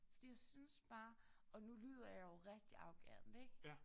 Fordi jeg synes bare og nu lyder jeg jo rigtig arrogant ik